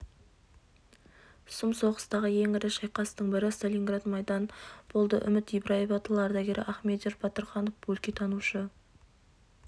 сұм соғыстағы ең ірі шайқастың бірі сталинград майданы болды үміт ибраева тыл ардагері ахмедияр батырханов өлкетанушы